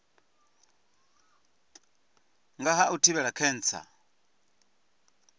nga ha u thivhela khentsa